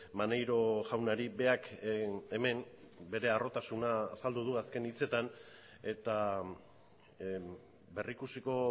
maneiro jaunari berak hemen bere harrotasuna azaldu du azken hitzetan eta berrikusiko